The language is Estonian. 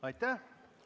Aitäh!